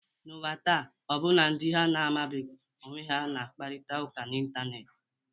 N’ụwa taa, ọbụna ndị ha na-amabughị onwe ha na-akparịta ụka n’Ịntanet.